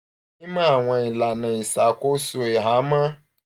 mimọ awọn ilana iṣakoso ihamọ